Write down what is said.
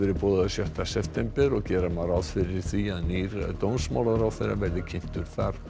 boðaður sjötta september og gera má ráð fyrir því að nýr dómsmálaráðherra verði þar kynntur